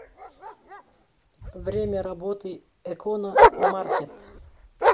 время работы экономаркет